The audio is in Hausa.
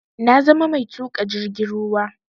Na zama mai tuƙa jirgin ruwa